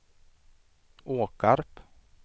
Åkarp